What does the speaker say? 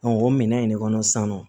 o minɛn in ne kɔnɔ san nɔ